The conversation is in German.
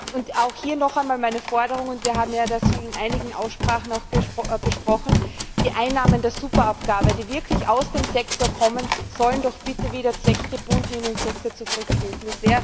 Und auch hier noch einmal meine Forderung und wir haben das in einigen Aussprachen auch besprochen Die Einnahmen der Superabgabe, die wirklich aus dem Sektor kommen, sollen doch bitte wieder zweckgebunden in den Sektor zurückfließen.